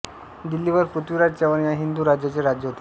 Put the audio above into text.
दिल्लीवर पृथ्वीराज चव्हाण या हिंदू राजाचे राज्य होते